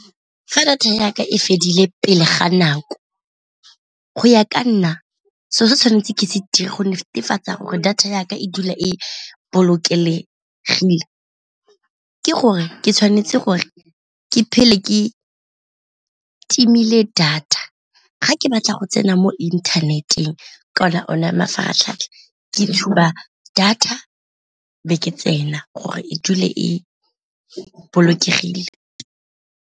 Fa data ya ka e fedile pele ga nako go ya ka nna seo se tshwanetseng ke se dire go netefatsa gore data ya ka e dula e bolokelegile, ke gore ke tshwanetse gore ke phele ke timile data ga ke batla go tsena mo inthaneteng kana ona mafaratlhatlha ke tshuba data be ke tsena gore e dule e bolokegile.